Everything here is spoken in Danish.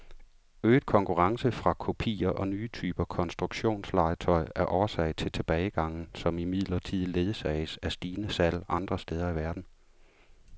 Øget konkurrence fra kopier og nye typer konstruktionslegetøj er årsag til tilbagegangen, som imidlertid ledsages af stigende salg andre steder i verden.